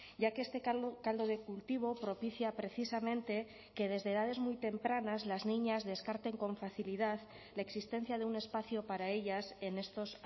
ya que este caldo de cultivo propicia precisamente que desde edades muy tempranas las niñas descarten con facilidad la existencia de un espacio para ellas en estos